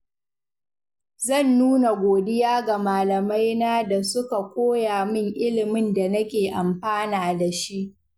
Zan nuna godiya ga malamaina da suka koya min ilimin da nake amfana da shi.